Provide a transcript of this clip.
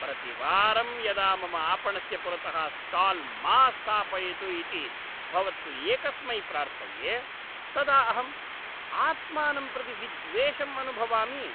प्रतिवारं यदा मम आपणस्य पुरतः स्टाल् मा स्थापयतु इति भवत्सु एकस्मै प्रार्थये, तदा अहम् आत्मानं प्रति विद्वेषम् अनुभवामि।